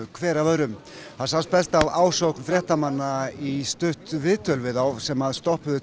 hver af öðrum það sást best á ásókn fréttamanna í stutt viðtöl við þá sem stoppuðu